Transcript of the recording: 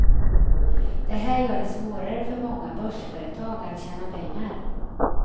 Det här gör det svårare för många börsföretag att tjäna pengar.